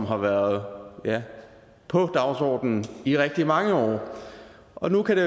har været på dagsordenen i rigtig mange år og nu kan det